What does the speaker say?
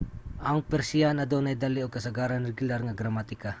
ang persiyan adunay dali ug kasagaran regular nga gramatika